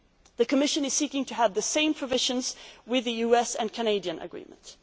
forward. The Commission is seeking to have the same provisions included in the US and Canadian agreements.